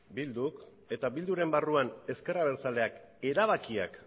bilduk eta bilduren barruan ezker abertzaleak erabakiak